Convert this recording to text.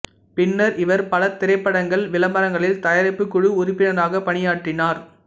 பின்னர் இவர் பல திரைப்படங்கள் விளம்பரங்களில் தயாரிப்புக் குழு உறுப்பினராக பணியாற்றினார்